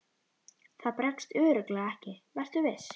Það bregst örugglega ekki, vertu viss.